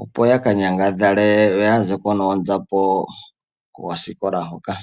opo ya ka nyangadhale yo ya zeko noonzapo koosikola hoka.